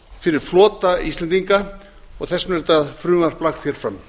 fyrir flota íslendinga og þess vegna er þetta frumvarp lagt fram